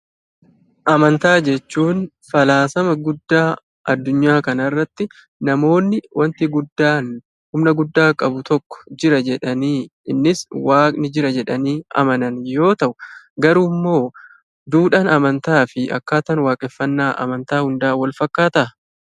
Amantaa jechuun falaasama guddaa addunyaa kanarratti namoonni "wanti guddaan humna guddaa qabu tokko jira" jedhanii innis "waaqni jira" jedhanii amanan yoo ta'u, garuu immoo duudhaan amantaa fi akkaataan waaqeffannaa amantaa hundaa walfakkaataa?